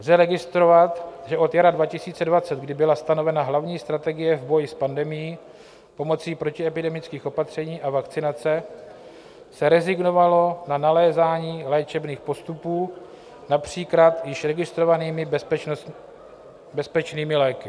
Lze registrovat, že od jara 2020, kdy byla stanovena hlavní strategie v boji s pandemií pomocí protiepidemických opatření a vakcinace, se rezignovalo na nalézání léčebných postupů například již registrovanými bezpečnými léky.